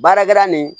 Baarakɛla nin